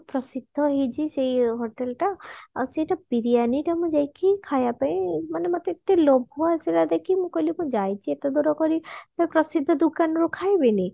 ପ୍ରସିଦ୍ଧ ହେଇଛି ସେଇ hotel ଟା ଆଉ ସେଟା ବିରିୟାନୀ ଟା ମୁଁ ଯାଇକି ମାନେ ଖାଇବା ପାଇଁ ମାନେ ମତେ ଏତେ ଲୋଭ ଆସିଲା ଦେଖିକି ମୁଁ କହିଲି ମୁଁ ଯାଇଛି ଏତେ ଦୂର କରି ତ ପ୍ରସିଦ୍ଧ ଦୋକାନରୁ ମୁଁ ଖାଇବିନି